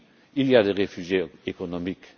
Oui, il y a des réfugiés économiques.